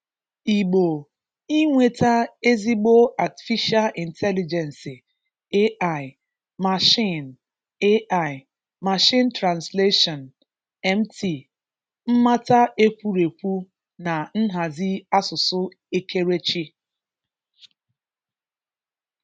Igbo inweta ezigbo Atịfisha Ịntelịgensị (AI), mashiin (AI), mashiin transleshọn (MT), mmata ekwurekwu na nhazi asụsụ ekerechi